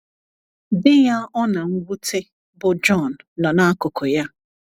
Di ya ọ na - nwute, bụ́ John, nọ n’akụkụ ya.